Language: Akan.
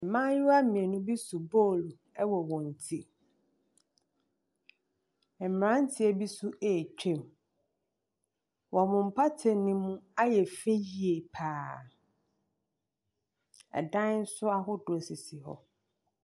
Mmayewa mmienu bi so bɔl ɛwɔ wɔn ti. Mmranteɛ bi so atwam. ɔmo. Wɔmmo mpata ne mu ayɛ fɛ yie paa. ɛdan so asisi hɔ.